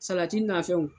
Salati nafɛnw